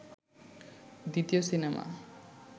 দ্বিতীয় সিনেমা